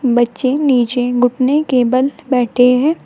बच्चे नीचे घुटने के बल बैठे हैं।